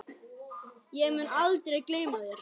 Ég mun aldrei gleyma þér.